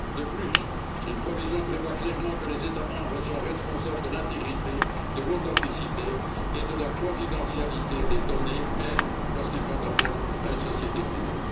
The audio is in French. De plus, une disposition prévoit clairement que les États membres sont responsables de l'intégrité, de l'authenticité et de la confidentialité des données, même lorsqu'ils font appel à une société privée.